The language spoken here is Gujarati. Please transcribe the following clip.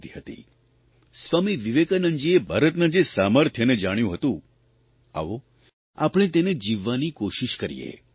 સ્વામી વિવેકાનંદજીએ ભારતના જે રૂપને જોયુ હતું સ્વામી વિવેકાનંદજીએ ભારતના જે સામર્થ્યને જાણ્યું હતું આવો આપણે તેને જીવવાની કોશિષ કરીએ